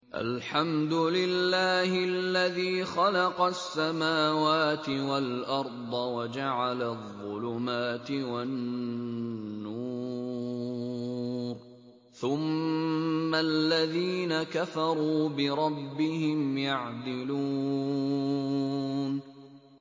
الْحَمْدُ لِلَّهِ الَّذِي خَلَقَ السَّمَاوَاتِ وَالْأَرْضَ وَجَعَلَ الظُّلُمَاتِ وَالنُّورَ ۖ ثُمَّ الَّذِينَ كَفَرُوا بِرَبِّهِمْ يَعْدِلُونَ